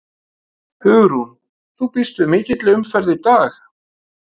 Hugrún: Þú býst við mikilli umferð í dag?